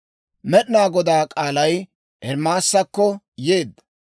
Med'inaa Godaa k'aalay Ermaasakko yeedda.